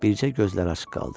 Bircə gözləri açıq qaldı.